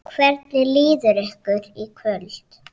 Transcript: Hvernig líður ykkur í kvöld?